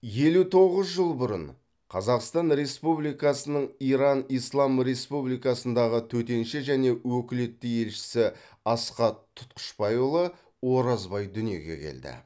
елу тоғыз жыл бұрын қазақстан республикасының иран ислам республикасындағы төтенше және өкілетті елшісі асхат тұтқышбайұлы оразбай дүниеге келді